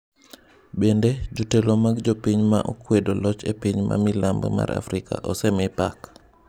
Bende, jotelo mag jopiny ma kwedo loch e pinje ma milambo mar Afrika osemi pak.